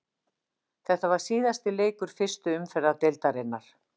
Þetta var síðasti leikur fyrstu umferðar deildarinnar.